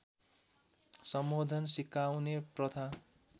सम्बोधन सिकाउने प्रथा